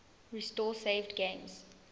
restore saved games